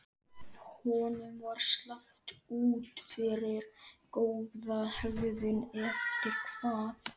Honum var sleppt út fyrir góða hegðun eftir hvað?